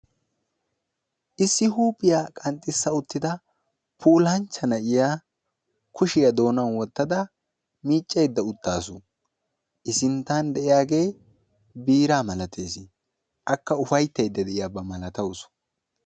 issi huuphiyaa qanxxissa uttida puulanchcha na'iya kushiyaa doonan wottada miiccayda uttaasu, I sinttan de'iyaagee biiraa malatees, akka upayttada de'awusu.